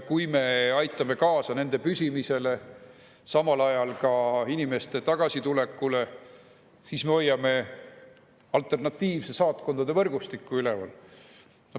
Kui me aitame kaasa nende püsimisele ja samal ajal ka inimeste tagasitulekule, siis me hoiame alternatiivset saatkondade võrgustikku üleval.